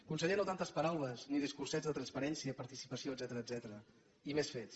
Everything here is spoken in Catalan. conseller no tantes paraules ni discursets de transparència participació etcètera i més fets